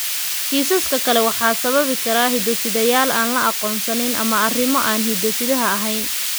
Kiisaska kale waxaa sababi kara hiddo-sideyaal aan la aqoonsan ama arrimo aan hidde-sidaha ahayn.